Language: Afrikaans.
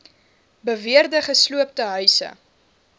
beweerde gesloopte huise